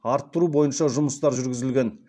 арттыру бойынша жұмыстар жүргізілген